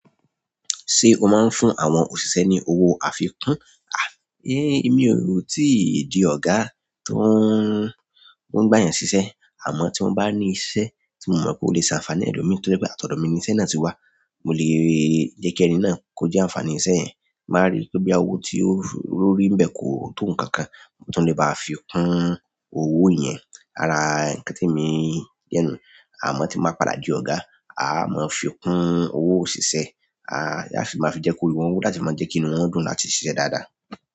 Ṣé o máa ń fún àwọn òṣìṣẹ́ ní owó àfikún? À, ẹ́, èmi ò rò ó tí ì dí ọ̀gá tó ń, tó ń gba yàn ṣíṣẹ́. Àmọ́ tí mo bá ní iṣẹ́ tí mo mọ̀ pé ó lè ṣe ànfàní ẹlòmíì tó jẹ́ pé àtọ̀dọ́ mi ni iṣẹ́ náà tí wá, mo lè jẹ́ kí ẹni náà kó jẹ́ ànfàní iṣẹ́ yẹn. Tí n bá rí pé bóyá owó tí ó rí ńbẹ̀ kò tó nǹkan kan mo tún lè ba fi kún owó yẹn. Ara ǹkan tí èmi jẹ́ nùu, àmọ́ tí n bá padà di ọ̀gá, á mọ fi kún owó òṣìṣẹ́ láti ma fi jẹ́ kí orí wọn wú láti ma jẹ́ kí inú wọn dùn láti ṣiṣẹ́ dáadáa.